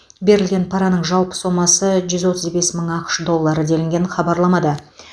берілген параның жалпы сомасы жүз отыз бес мың ақш доллары делінген хабарламада